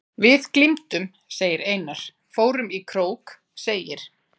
Við glímdum, segir Einar, fórum í krók, segir